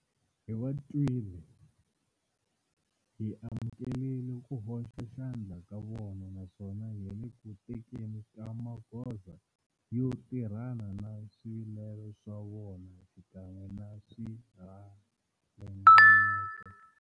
Hi va twile, hi amukela ku hoxa xandla ka vona naswona hi le ku tekeni ka magoza yo tirhana na swivilelo swa vona xikan'we na swiringanyeto.